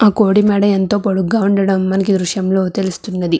ఆ గోడ ఎంతో పొడుగ్గా ఉండడం మనకు ఈ దృశ్యంలో తెలుస్తుంది.